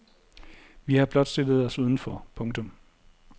Vi har blot stillet os uden for. punktum